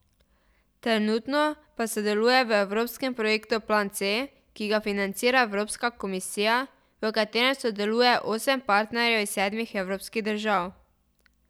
Trenutno pa sodelujejo v evropskem projektu Plan C, ki ga financira Evropska komisija, v katerem sodeluje osem partnerjev iz sedmih evropskih držav.